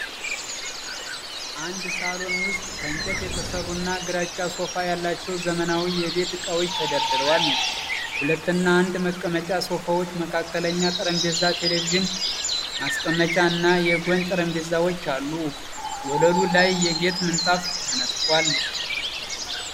አንድ ሳሎን ውስጥ ከእንጨት የተሠሩና ግራጫ ሶፋ ያላቸው ዘመናዊ የቤት ዕቃዎች ተደርድረዋል። የሁለትና የአንድ መቀመጫ ሶፋዎች፣ መካከለኛ ጠረጴዛ፣ ቴሌቪዥን ማስቀመጫ እና የጎን ጠረጴዛዎች አሉ። ወለሉ ላይ የጌጥ ምንጣፍ ተነጥፏል።